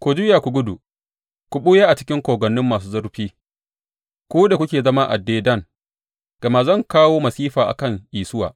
Ku juya ku gudu, ku ɓuya a cikin kogwanni masu zurfi, ku da kuke zama a Dedan, gama zan kawo masifa a kan Isuwa